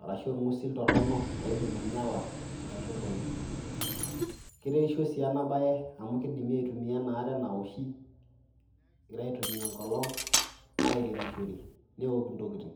arashu orng'usil toron loidim ainyala nkatubulu. Keretisho sii ena baye amu kidimi aitumia ena are nawoshi egirai aitumia enkolong' airemishore, newok intokitin.